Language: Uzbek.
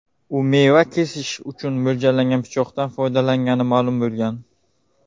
U meva kesish uchun mo‘ljallangan pichoqdan foydalangani ma’lum bo‘lgan.